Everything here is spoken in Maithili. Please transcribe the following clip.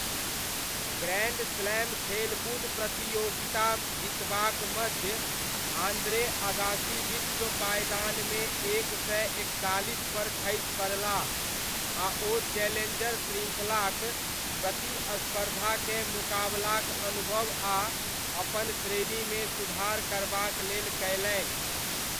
ग्रैण्ड स्लैम खेलकूद प्रतियोगिता जितबाक मध्य आन्द्रे अगासी विश्व पायदानमे एक सय एकतालीसपर खसि पड़लाह आ ओ चैलेञ्जर श्रृङ्खलाक प्रतिस्पर्धाकेँ मुकाबलाक अनुभव आ अपन श्रेणीमे सुधार करबाक लेल कयलनि।